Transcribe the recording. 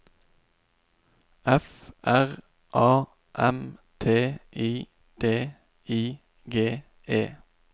F R A M T I D I G E